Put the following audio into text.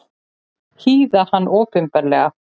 Hýða hann opinberlega!